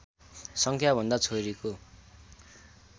सङ्ख्याभन्दा छोरीको